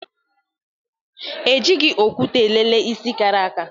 E jighị okwute elele isi kara aka